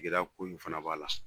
gɛlɛya ko in fana b'a la